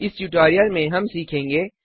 इस ट्यूटोरियल में हम सीखेंगे